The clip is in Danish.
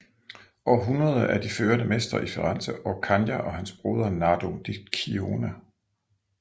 Århundrede er de førende mestre i Firenze Orcagna og hans broder Nardo di Cione